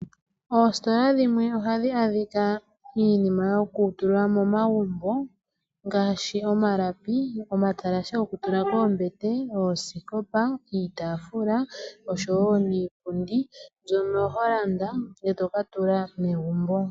Ostola dhimwe ohamu adhika iinima yokutula momagumbo ngaashi omalapi , omatalashe gokutula koombete, Ooskopa, iitafula oshowo niipundi mbyono yo landa etoka tula megumbo.